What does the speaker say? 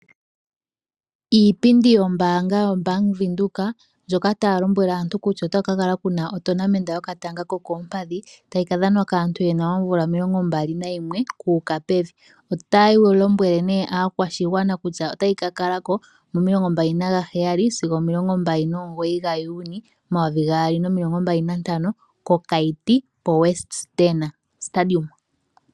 Iipindi yombaanga yobank Windhoek ndjoka taya lombwele aantu kutya Ota ku kakala kuna otonamenta yokatanga kokoompadhi tayi kadhanwa kaantu yena oomvula 21 kuuka pevi. Otayi lombwele aakwashigwana kutya otayi kakalako momasiku o21 sigo 29 Juni 2025 kokaiti ko WESTDENE stadium.